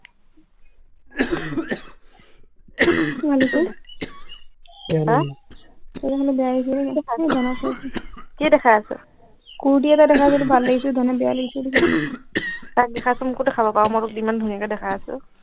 মিলিকি আহ বেয়া লাগিছে নি এই ধনক কৈছো কি দেখাইছ কুৰটি এটা দেখাইছো এইটো ভাল লাগিছে ধনে বেয়া লাগিছে বুলি কৈছে তাক দেখাইছ মোকো দেখাব পৰ মই তোক ইমান ধুনীয়াকে দেখাই আছো